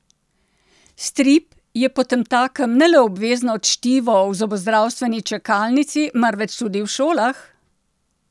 Strip je potemtakem ne le obvezno čtivo v zobozdravstveni čakalnici, marveč tudi v šolah?